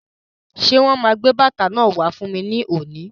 Ṣé wọn máa gbé bàtà náà wá fún mi lónìí?